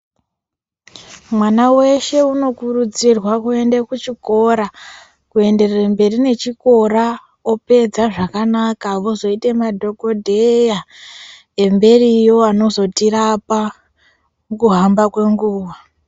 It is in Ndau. Mwana weshe unokurudzirwa kuende kuchikora, kuenderere mberi nechikora opedza zvakanaka, vozoite madhokodheya emberiwo anozotirapa nekuhamba kwenguwa.